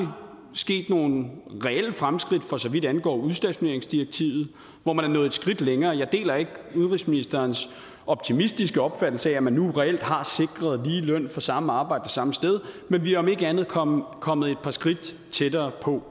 sket nogle reelle fremskridt for så vidt angår udstationeringsdirektivet hvor man er nået et skridt længere jeg deler ikke udenrigsministerens optimistiske opfattelse af at man nu reelt har sikret lige løn for samme arbejde det samme sted men vi er om ikke andet kommet kommet et par skridt tættere på